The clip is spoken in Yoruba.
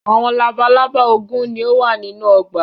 Awọn labalaba ogún ni o wa ninu ọgba